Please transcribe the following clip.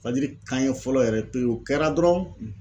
Fajiri kanya fɔlɔ yɛrɛ piriw kɛra dɔrɔn